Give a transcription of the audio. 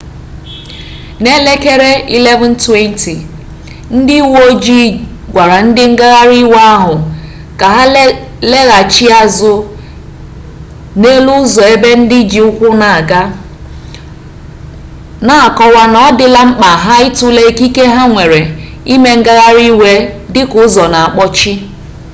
n'elekere 11:20 ndị uwe ojii gwara ndị ngagharị iwe ahụ ka ha laghachi azụ n'elu ụzọ ebe ndị ji ụkwụ na-aga na-akọwa na ọ dịla mkpa ha ịtụle ikike ha nwere ime ngagharị iwe dịka ụzọ na-akpọchi